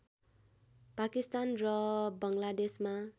पाकिस्तान र बङ्गलादेशमा